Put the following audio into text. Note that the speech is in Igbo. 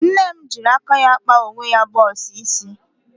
Nne m jịrị aka ya kpa onwe ya bọx isi.